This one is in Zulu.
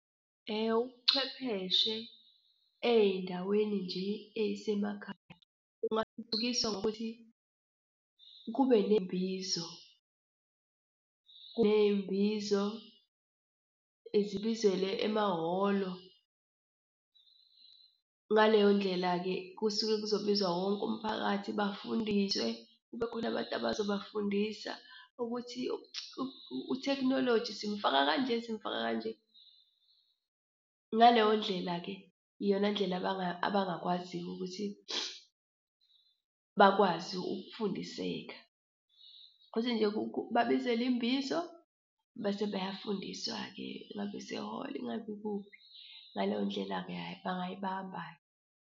Ubuchwepheshe ey'ndaweni nje ey'semakhaya kungathuthukiswa ngokuthi kube kunembizo, ney'mbizo zibizelwe emahholo. Ngaleyo ndlela-ke kusuke kuzobiza wonke umphakathi bafundiswe kube khona abantu abazobafundisa ukuthi utekhinoloji simfaka kanje simfaka kanje. Ngaleyo ndlela-ke iyona ndlela abangakwazi-ke ukuthi bakwazi ukufundiseka, ukuthi nje babizelwe imbizo bese beyafundiswa-ke. Ingabe isehholo ingabe ikuphi. Ngaleyo ndlela-ke, hhayi bangayibamba-ke.